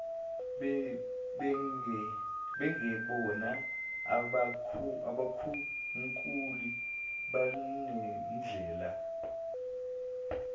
bengebona abakhunkuli banendlela